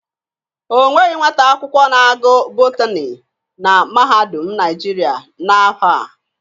Onweghị nwata akwụkwọ na-agụ Botani na Mahadum Naijiria na ahọ a.